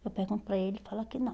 Eu pergunto para ele, ele fala que não.